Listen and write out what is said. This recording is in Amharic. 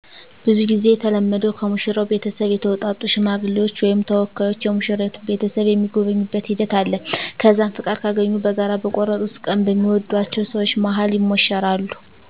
ብዙ ጊዜ የተለመደዉ ከሙሽራው ቤተሰብ የተውጣጡ ሽማግሌዎች ወይም ተወካዮች የሙሽራይቱን ቤተሰብ የሚጎበኙበት ሂደት አለ። ከዛም ፍቃድ ካገኙ በጋራ በቆርጡት ቀን በሚወድአቸው ሰወች መሀል ይሞሸራሉ።